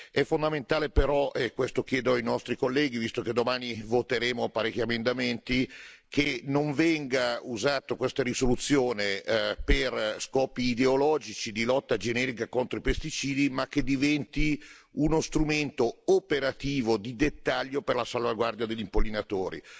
È fondamentale però e questo chiedo ai nostri colleghi, visto che domani voteremo parecchi emendamenti che questa risoluzione non venga usata per scopi ideologici di lotta generica contro i pesticidi, ma che diventi uno strumento operativo di dettaglio per la salvaguardia degli impollinatori.